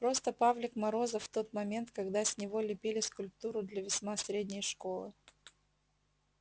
просто павлик морозов в тот момент когда с него лепили скульптуру для весьма средней школы